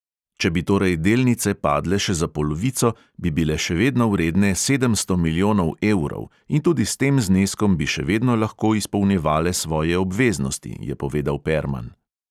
Če bi torej delnice padle še za polovico, bi bile še vedno vredne sedemsto milijonov evrov in tudi s tem zneskom bi še vedno lahko izpolnjevale svoje obveznosti, je povedal perman.